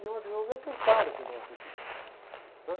Tinha uma visão deturpada aqui, nossa, aqui.